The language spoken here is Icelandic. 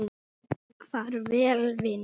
Far vel vinur.